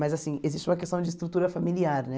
Mas, assim, existe uma questão de estrutura familiar, né?